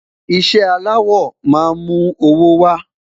iṣẹ alawọ má mú owó wa